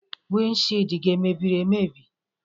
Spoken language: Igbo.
Wịnd shịld gị emebiri emebi?